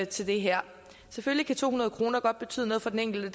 til det her selvfølgelig kan to hundrede kroner godt betyde noget for den enkelte